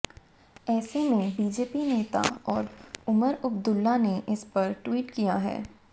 ऐसे में बीजेपी नेता और उमर अब्दुल्ला ने इस पर ट्वीट किया है